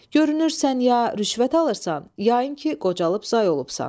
Görünür, sən ya rüşvət alırsan, ya yəqin ki, qocalıb zay olubsan.